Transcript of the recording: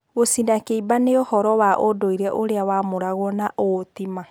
Gũcina kĩimba nĩũhoro wa ũndũire ũrĩa wamũragwo na ũũ ti-maa.